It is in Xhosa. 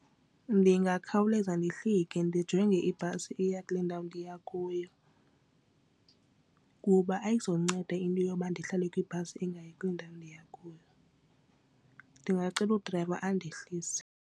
Ndingakhawuleza ndihlike ndijonge ibhasi eya kule ndawo ndiya kuyo kuba ayizunceda into yoba ndihlale kwibhasi engayi kule ndawo ndiya kuyo, ndingacela udrayiva andohlise.